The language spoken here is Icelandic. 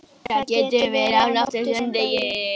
Það getur verið á nóttu sem degi.